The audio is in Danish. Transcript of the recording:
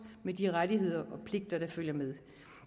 med de rettigheder og pligter der følger med